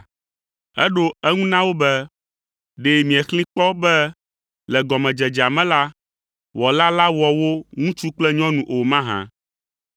Eɖo eŋu na wo be, “Ɖe miexlẽe kpɔ be le gɔmedzedzea me la, Wɔla la wɔ wo ŋutsu kple nyɔnu o mahã?